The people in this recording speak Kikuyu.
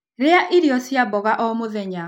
Rĩa irio cia mmboga o mũthenya